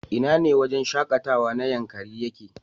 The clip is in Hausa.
Ina ne wajen shakatawa na Yankari yake?